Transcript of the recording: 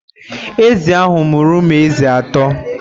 Ezi ahụ mụrụ ụmụ ezi atọ.